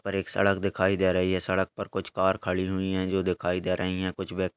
पर एक सड़क दिखाई दे रही है। सड़क पर कुछ कार खड़ी हुईं हैं जो दिखाई दे रहीं हैं कुछ व्यक --